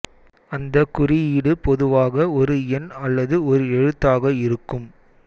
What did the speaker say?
அந்த குறியீடு பொதுவாக ஒரு எண் அல்லது ஒரு எழுத்தாக இருக்கும்